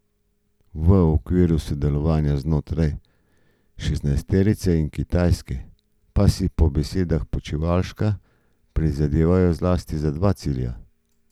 V okviru sodelovanja znotraj šestnajsterice in Kitajske pa si po besedah Počivalška prizadevajo zlasti za dva cilja.